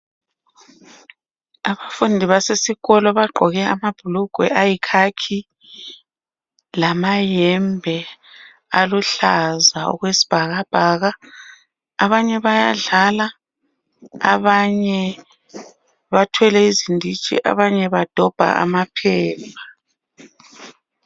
Abafundi basesikolo bagqoke amabhulugwe ayikhakhi lamayembe aluhlaza okwesibhakabhaka, abanye bayadlala abanye bathwele izinditshi abanye badobha amaphepha.